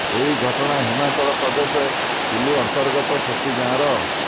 ଏହି ଘଟଣା ହିମାଚଳ ପ୍ରଦେଶ କୁଲ୍ଲୁ ଅନ୍ତର୍ଗତ ଶକ୍ତି ଗାଁର